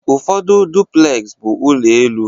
Ụfọdụ duplez bụ n'elu ụlọ.